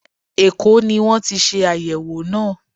Èkó ní wọ́n ti ṣe àyẹ̀wò náà.